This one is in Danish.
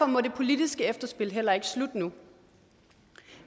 må det politiske efterspil heller ikke slutte nu